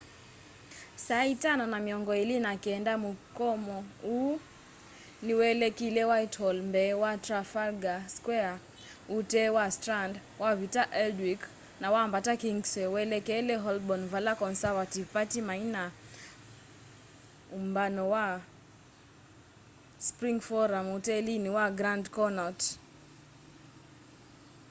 saa ĩtano na mĩongo ĩlĩ na kenda mũkomo ũu nĩ welekeĩle whitehall mbee wa trafalgar square ũtee wa strand wavita aldwych na wambata kingsway welekele holborn vala conservative party maina na ũmbano wa spring forum utelini wa grand connaught